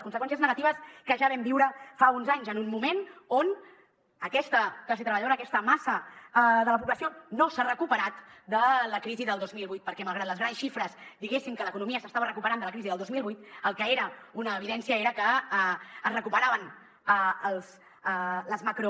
conseqüències negatives que ja vam viure fa uns anys en un moment on aquesta classe treballadora aquesta massa de la població no s’ha recuperat de la crisi del dos mil vuit perquè malgrat que les grans xifres diguessin que l’economia s’estava recuperant de la crisi del dos mil vuit el que era una evidència era que es recuperaven les macro